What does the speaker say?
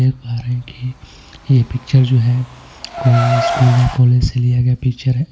देख पा रहे हैं कि यह पिक्चर जो है कोई स्कूल या कॉलेज से लिया गया पिक्चर है.